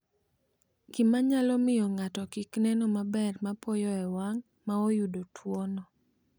Gima nyalo miyo ng’ato kik neno maber mapoya e wang’ ma oyudo tuwono.